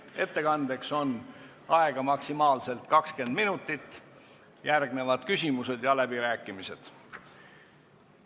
Ettekandeks on aega maksimaalselt 20 minutit, järgnevad küsimused ja läbirääkimised.